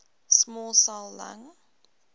small cell lung